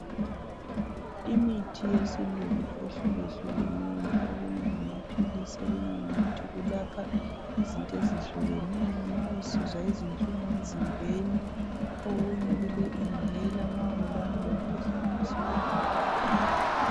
Imithi yesilungu ehlukehlukeneyo, okunye ngamaphilisi okunye yimithi kulapha izinto ezihlukeneyo ma usizwa ubuhlungu emzimbeni, okunye kule inhaler ma ungulowana olomkhuhlane wesifuba